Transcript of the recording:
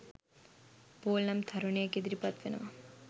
Paul නම් තරුණයෙක් ඉදිරිපත් වෙනවා